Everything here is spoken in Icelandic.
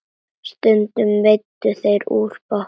Stundum veiddu þeir úr bátnum.